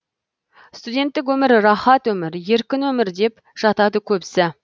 студенттік өмір рахат өмір еркін өмір деп жатады көбісі